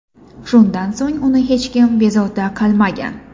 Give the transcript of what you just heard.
Shundan so‘ng uni hech kim bezovta qilmagan.